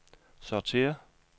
sortér